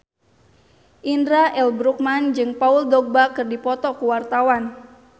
Indra L. Bruggman jeung Paul Dogba keur dipoto ku wartawan